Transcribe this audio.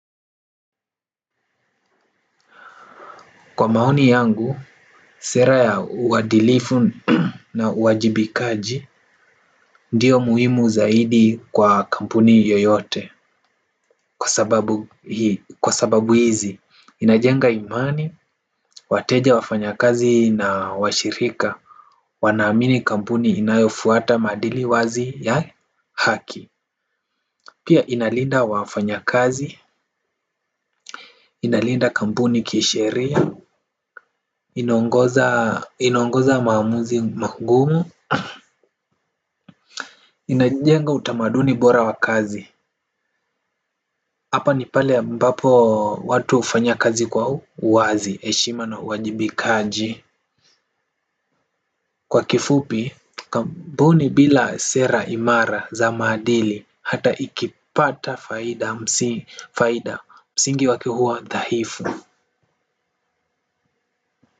Kwa maoni yangu, sera ya uadilifu na uwajibikaji ndio muhimu zaidi kwa kampuni yoyote. Kwa sababu hizi, inajenga imani, wateja, wafanyakazi na washirika wanaamini kampuni inayofuata maadili wazi ya haki. Pia ina linda wafanyakazi, ina linda kampuni kisheria. Ina ongoza maamuzi magumu inajenga utamaduni bora wa kazi hapa ni pale ambapo watu hufanya kazi kwa uwazi, heshima na uwajibikaji. Kwa kifupi kampuni bila sera imara za maadili hata ikipata faida msingi wake huwa dhaifu.